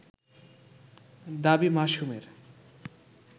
দাবী মাসুমের